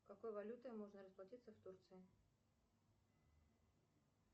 какой валютой можно расплатиться в турции